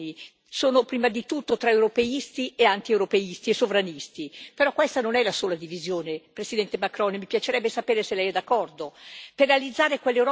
È vero che le divisioni sono prima di tutto tra europeisti e antieuropeisti e sovranisti però questa non è la sola divisione, Presidente Macron, mi piacerebbe sapere se lei è d'accordo.